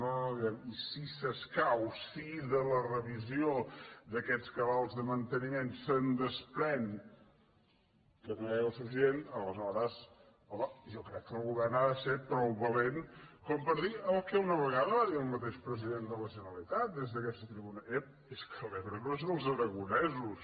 no no diem i si s’escau si de la revisió d’aquests cabals de manteniment es desprèn que no hi ha aigua suficient aleshores home jo crec que el govern ha ser prou valent per dir el que una vegada va dir el mateix president de la generalitat des d’aquesta tribuna ep és que l’ebre no és dels aragonesos